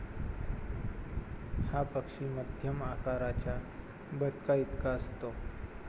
हा पक्षी मध्यम आकाराच्या बदकाइतका असतो.